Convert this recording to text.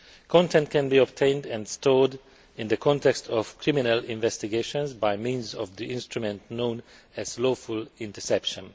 Content can be obtained and stored in the context of criminal investigations by means of the instrument known as lawful interception.